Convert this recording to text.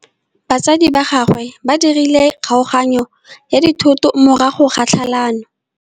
Batsadi ba gagwe ba dirile kgaoganyô ya dithoto morago ga tlhalanô.